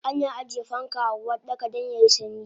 Ana ajiye fanka a Uwardaka dan yayi sanyi